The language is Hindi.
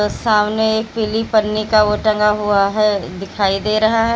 सामने एक पीली पन्नी का वो टंगा हुआ है दिखाई दे रहा है।